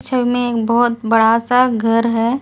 इसमें एक बहुत बड़ा सा घर है।